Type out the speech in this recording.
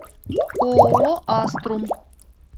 ооо аструм